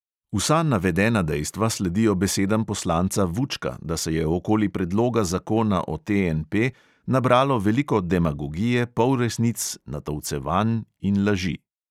Vsa navedena dejstva sledijo besedam poslanca vučka, da se je okoli predloga zakona o TNP nabralo veliko demagogije, polresnic, natolcevanj in laži.